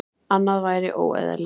Annað væri óeðlilegt.